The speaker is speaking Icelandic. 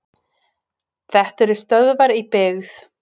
Þetta eru stöðvar í byggð.